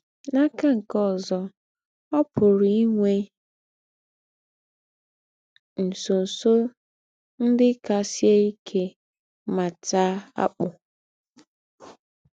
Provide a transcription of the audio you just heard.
N’akà nke ózọ, ọ́ pùrù í nwè ńsọ̀nsọ̀ ńdị́ kà sìé íkè mà taà àkpù.